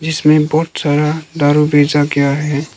इसमें बहुत सारा दारू बेचा गया है।